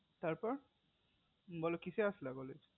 তার পর বলো কিসে আসলা college